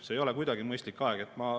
See ei ole kuidagi mõistlik aeg.